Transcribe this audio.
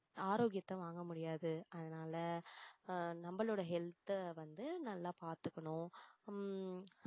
ஆரோக்கியத்தை வாங்க முடியாது அதனால அஹ் நம்மளோட health அ வந்து நல்லா பாத்துக்கணும் உம்